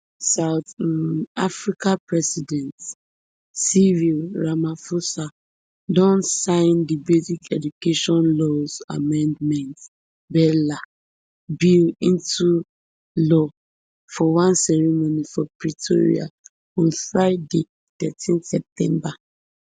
south um africa president cyril ramaphosa don sign di basic education laws amendment bela bill into law for one ceremony for pretoria on friday thirteen september